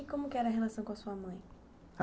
E como que era a relação com a sua mãe?